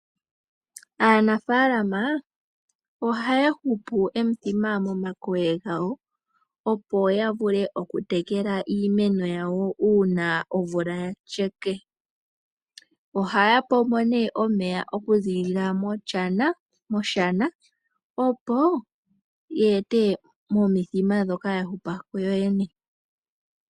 Aanafaalama ohaya hupu omithima momankolo gawo opo ya vule okutekela iimeno yawo uuna omvula ya sheka. Ohaya pombo nee omeya okuziilila moshana opo ya ete momithima ndhoka ya hupa kuyo yene.